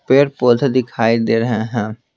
पेड़ पौधे दिखाई दे रहे हैं।